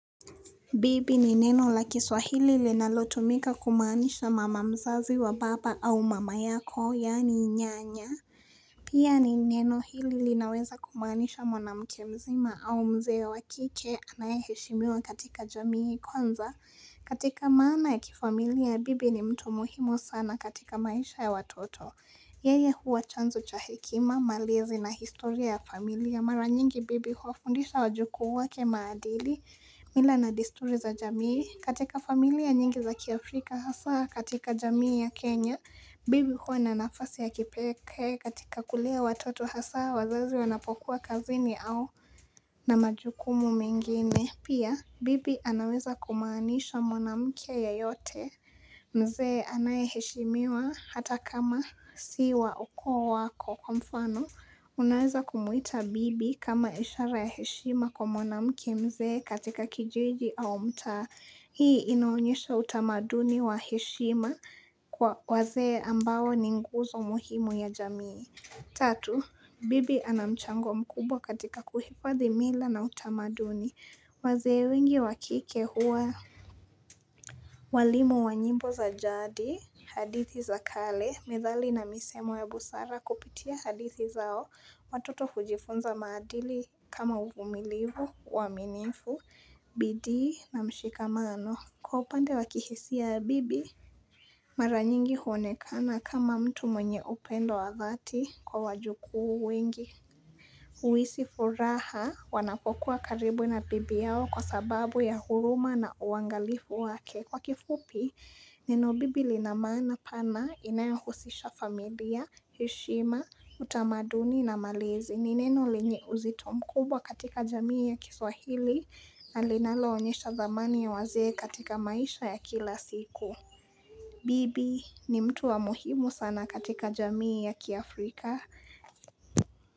Bibi ni neno la kiswahili li nalotumika kumaanisha mama mzazi wa baba au mama yako, yani nyanya. Pia ni neno hili li naweza kumaanisha mwana mkemzima au mzee ya wakike anayeheshimiwa katika jamii kwanza. Katika maana ya kifamilia, bibi ni mtu muhimu sana katika maisha ya watoto. Yeye huwa chanzo cha hekima, malezi na historia ya familia. Mara nyingi bibi hufundisha wajukuu wake maadili mila na desturi za jamii. Katika familia nyingi za kiafrika hasa katika jamii ya Kenya, bibi huwa na nafasi ya kipekee katika kulea watoto hasa wazazi wanapokuwa kazini au na majukumu mengine. Pia, bibi anaweza kumaanisha mwana mkea yeyote mzee anayeheshimiwa hata kama siwa ukoo wako kwa mfano. Unaweza kumuita bibi kama ishara ya heshima kwa mwana mke mzee katika kijiji au mtaa. Hii inaonyesha utamaduni wa heshima kwa wazee ambao ninguzo muhimu ya jamii. Tatu, bibi anamchango mkubwa katika kuhifadhi mila na utamaduni. Wazze wengi wakike hua. Walimu wa njimbo za jaadi. Hadithi za kale. Methali na misemo ya busara kupitia hadithi zao. Watoto hujifunza madili kama uvumilivu, uaminifu, bidii na mshikamano. Kwa upande wakihisia bibi. Maranyingi huonekana kama mtu mwenye upendo wa dhati kwa wajukuu wengi. Huhisi furaha wanapokuwa karibu na bibi yao kwa sababu ya huruma na uangalifu wake. Kwa kifupi, neno bibi linamaana pana inayohusisha familia, heshima, utamaduni na malezi. Nineno lenye uzito mkubwa katika jamii ya kiswahili na linalo onyesha dhamani ya wazee katika maisha ya kila siku. Bibi ni mtu wa muhimu sana katika jamii ya Kiafrika.